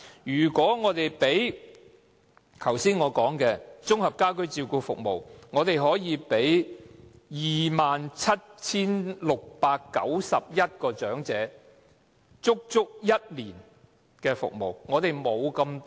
如果以我剛才提到的綜合家居照顧服務來說，可以為 27,691 名長者提供足足一年的服務。